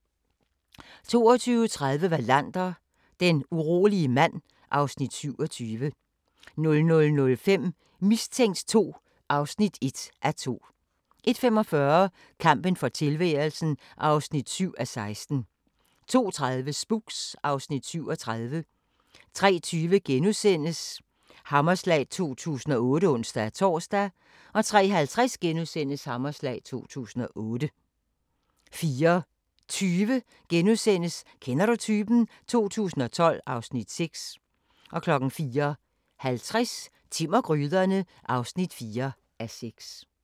22:30: Wallander: Den urolige mand (Afs. 27) 00:05: Mistænkt 2 (1:2) 01:45: Kampen for tilværelsen (7:16) 02:30: Spooks (Afs. 37) 03:20: Hammerslag 2008 *(ons-tor) 03:50: Hammerslag 2008 * 04:20: Kender du typen? 2012 (Afs. 6)* 04:50: Timm og gryderne (4:6)